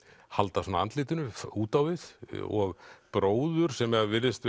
halda andlitinu út á við og bróður sem virðist